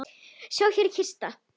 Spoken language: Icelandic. Sjá, hér er kistan.